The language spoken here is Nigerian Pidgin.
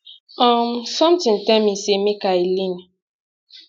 um sometin tell me say make i lean